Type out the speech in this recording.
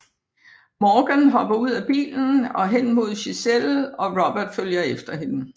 Morgan hopper ud af bilen og hen mod Giselle og Robert følger efter hende